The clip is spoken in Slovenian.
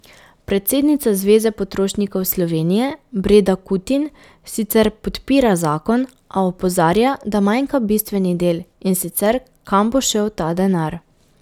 Predsednica Zveze potrošnikov Slovenije Breda Kutin sicer podpira zakon, a opozarja, da manjka bistveni del, in sicer kam bo šel ta denar.